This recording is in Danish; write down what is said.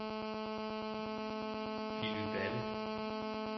Willy Balle